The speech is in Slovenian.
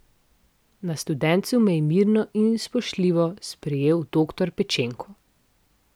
Na Studencu me je mirno in spoštljivo sprejel doktor Pečenko.